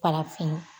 Farafin